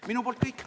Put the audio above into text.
Minu poolt on kõik.